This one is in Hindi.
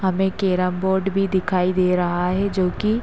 सामने केरम बोर्ड भी दिखाई दे रहा है जोकि --